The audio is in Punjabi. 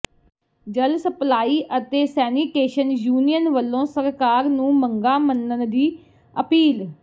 ਜਲ ਸਪਲਾਈ ਅਤੇ ਸੈਨੀਟੇਸ਼ਨ ਯੂਨੀਅਨ ਵੱਲੋਂ ਸਰਕਾਰ ਨੂੰ ਮੰਗਾਂ ਮੰਨਣ ਦੀ ਅਪੀਲ